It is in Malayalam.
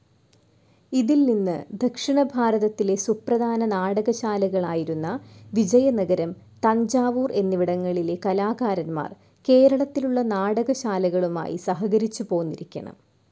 ഇതിൽ നിന്നു ദക്ഷിണഭാരതത്തിലെ സുപ്രധാന നാടകശ്ശാലകളായിരുന്ന വിജയനഗരം, തഞ്ചാവൂർ എന്നിവിടങ്ങളിലെ കലാകാരന്മാർ കേരളത്തിലുള്ള നാടകശ്ശാലകളുമായി സഹകരിച്ചുപോന്നിരിക്കണം.